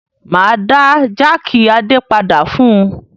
Máa dá jákì Adé padà fún un.